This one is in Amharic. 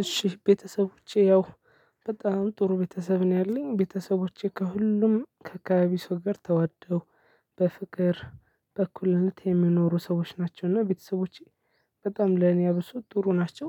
እሺ ቤተሰቦቼ ያው በጣም ጥሩ ቤተሰብ ነው ያለኝ። ቤተሰቦቼ ከሁሉም ከአካባቢ ሰው ጋር ተዋደው፣ በፍቅር፣ በእኩልነት የሚኖሩ ሰዎች ናቸው፤ እና ቤተሰቦቼ በጣም ለኔ አብሶ ጥሩ ናቸው።